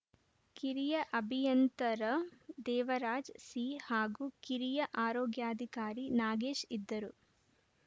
ಕಿರಿಯ ಅಭಿಯಂತರ ದೇವರಾಜ್‌ ಸಿ ಹಾಗೂ ಕಿರಿಯ ಆರೋಗ್ಯಾಧಿಕಾರಿ ನಾಗೇಶ್‌ ಇದ್ದರು